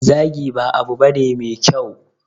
Zagi ba abu bane me kyau.